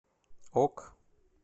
ок